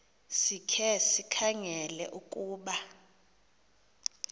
sikhe sikhangele ukuba